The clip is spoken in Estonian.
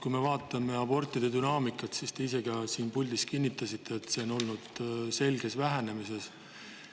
Kui me vaatame abortide dünaamikat, siis näeme – te ka ise siin puldis kinnitasite seda –, et nende on olnud selges vähenemises.